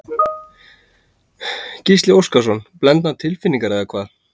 Gísli Óskarsson: Blendnar tilfinningar eða hvað?